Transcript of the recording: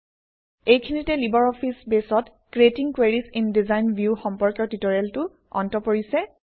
এইখিনিতে LibreOffice বেছত creating queries in design view সম্পৰ্কীয় ট্যুটৰিয়েলটো অন্ত পৰিছে